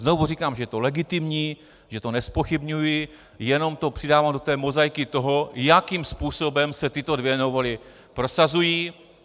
Znovu říkám, že je to legitimní, že to nezpochybňuji, jenom to přidávám do té mozaiky toho, jakým způsobem se tyto dvě novely prosazují.